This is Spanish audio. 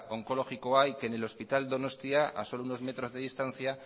onkologikoa y que en el hospital donostia a solo unos metros de distancia